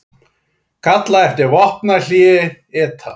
Kalla eftir vopnahléi ETA